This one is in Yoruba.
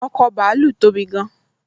ọkọ̀ bàálù tóbi gán